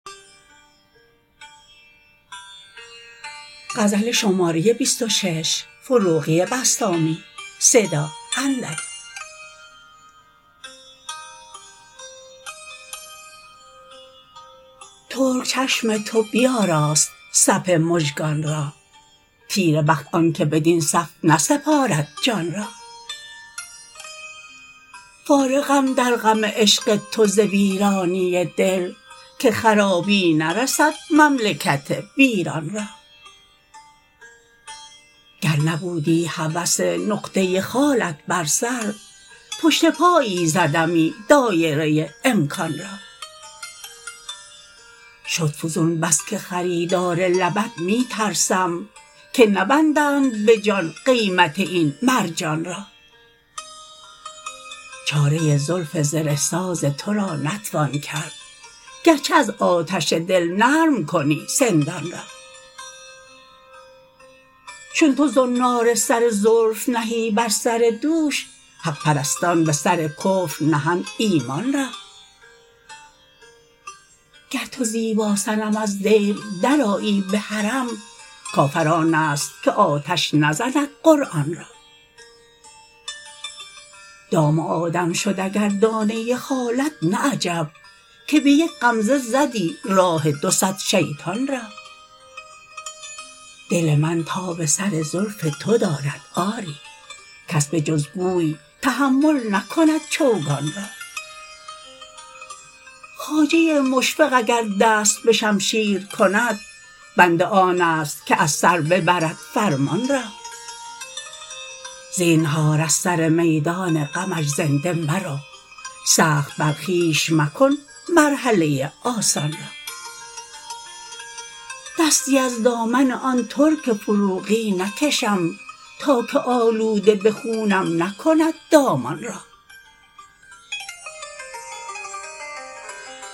ترک چشم تو بیاراست صف مژگان را تیره بخت آن که بدین صف نسپارد جان را فارغم در غم عشق تو ز ویرانی دل که خرابی نرسد مملکت ویران را گر نبودی هوس نقطه خالت بر سر پشت پایی زدمی دایره امکان را شد فزون بس که خریدار لبت می ترسم که نبندند به جان قیمت این مرجان را چاره زلف زره ساز تو را نتوان کرد گرچه از آتش دل نرم کنی سندان را چون تو زنار سر زلف نهی بر سر دوش حق پرستان به سر کفر نهند ایمان را گر تو زیبا صنم از دیر درآیی به حرم کافر آن است که آتش نزند قرآن را دام آدم شد اگر دانه خالت نه عجب که به یک غمزه زدی راه دو صد شیطان را دل من تاب سر زلف تو دارد آری کس به جز گوی تحمل نکند چوگان را خواجه مشفق اگر دست به شمشیر کند بنده آن است که از سر ببرد فرمان را زینهار از سرمیدان غمش زنده مرو سخت بر خویش مکن مرحله آسان را دستی از دامن آن ترک فروغی نکشم تا که آلوده به خونم نکند دامان را